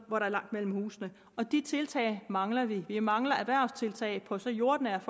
hvor der er langt mellem husene og de tiltag mangler vi vi mangler erhvervstiltag på så jordnært